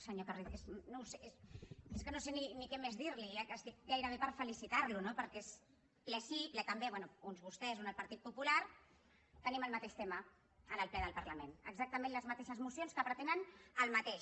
senyor carrizosa és que no sé ni què més dir li ja estic gairebé per felicitar lo no perquè és ple sí ple també bé un vostès un el partit popular que tenim el mateix tema en el ple del parlament exactament les mateixes mocions que pretenen el mateix